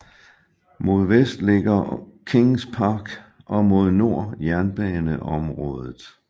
Mod vest ligger Kings Park og mod nord jernbaneområdet